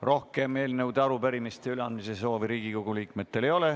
Rohkem eelnõude ja arupärimiste üleandmise soovi Riigikogu liikmetel ei ole.